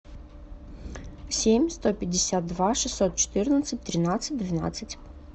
семь сто пятьдесят два шестьсот четырнадцать тринадцать двенадцать